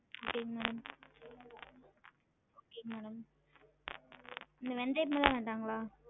Okay ங்க madam okay madam இந்த வேந்தயம்லாம் வேண்டாங்களா?